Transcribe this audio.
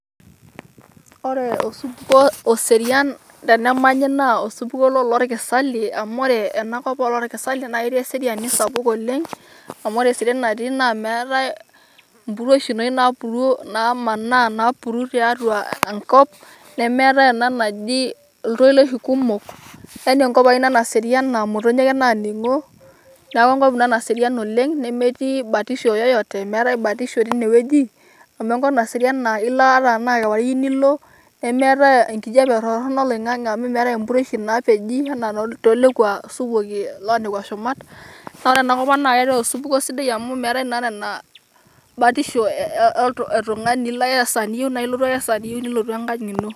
Ore osupukuo oserian tenemanyi naa osupukuo loloorkisalie amu ore ena kop olorkisalie naa ketii eseriani sapuk oleng' amu ore eseriani natii naa meetae empuruoshi enoshi naapuru nemanaa napuru tiatua Enkop nemeetae ena naji iltoloishi kumok, Yani Enkop ena Naserian naa imotonyi ake naa ning'o neeku Enkop Ina Naserian oleng' nemetii batisho yeyote, meetae batisho teine wueji amu Enkop Naserian naa ilo ata tenaa kewarie iyieu Nilo nemeetae enkijiape torronok oloing'ang'e amu meetae empuruoshi eji enaa toolekua supuki loo nekwa shumat naa ore ele supukuo naa osupukuo sidai amu meetae naa taata Ina batisho etung'ani ilo ake esaa niyieu naa ilotu ake esaa niyieu nilotu Engang' ino.